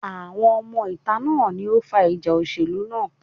Àwọn ọmọ ìta náà ni ó fa ìjà òṣèlú náà.